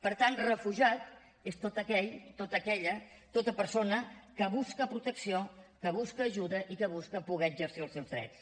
per tant refugiat és tot aquell tota aquella tota persona que busca protecció que busca ajuda i que busca poder exercir els seus drets